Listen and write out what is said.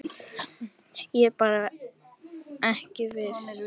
Ég er bara ekki viss.